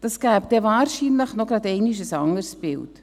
Das gäbe wahrscheinlich gleich noch einmal ein anderes Bild.